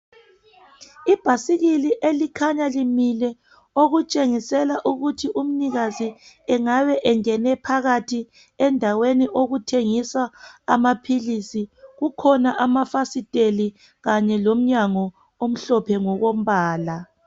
Ibhasikili elikhanya limile, okutshengisela ukuthi umnikazi engabe engene phakathi endaweni okuthengiswa amaphilisi. Kukhona amafasitela kanye lomnyango omhlophe ngokombala.